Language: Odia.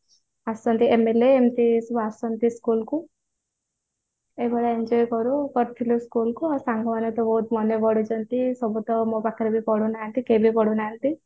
ଆସନ୍ତି MLA MP ସବୁ ଆସନ୍ତି school କୁ ଏଇଭଳିଆ enjoy କରୁଥିଲୁ school ରେ ଆଉ ସାଙ୍ଗ ମାନେ ତ ବହୁତ ମନେ ପଡ଼ୁଛନ୍ତି ସବୁ ତ ମୋ ପାଖରେ ବି ପଢୁ ନାହାନ୍ତି କିଏ ବି ପଢୁ ନାହାନ୍ତି